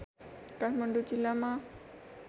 काठमाडौँ जिल्लामा